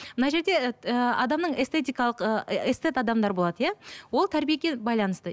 мына жерде ыыы адамның эстетикалық ы эстет адамдар болады иә ол тәрбиеге байланысты